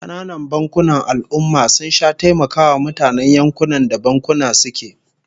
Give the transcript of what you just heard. Kananan bankunan al'ummah sun sha taimakawa mutanen yankunan da bankunan suke